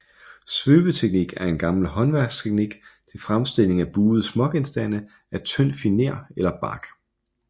Svøbeteknik er en gammel håndværksteknik til fremstilling af buede smågenstande af tynd finer eller bark